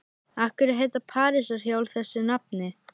Af hverju heita parísarhjól þessu nafni?